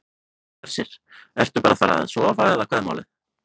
Hersir: Ertu bara að fara að sofa eða hvað er málið?